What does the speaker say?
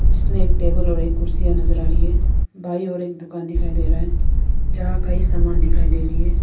जिसमें एक टेबल और एक कुर्सीयां नजर आ रही है दाईं ओर एक दुकान दिखाई दे रहा है जहां कई सामान दिखाई दे रही है।